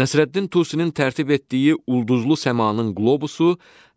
Nəsrəddin Tusinin tərtib etdiyi ulduzlu səmanın qlobusu